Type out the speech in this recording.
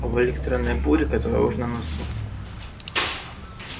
об электронной буре которая уж на носу